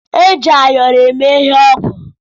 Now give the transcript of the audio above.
Eji ayọrọ eme ihe ọgwụ.